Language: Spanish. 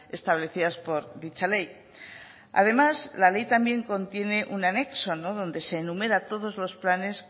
establecidas por dicha ley además la ley también contiene un anexo donde se enumera todos los planes